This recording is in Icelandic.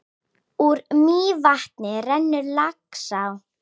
Úr Mývatni rennur Laxá.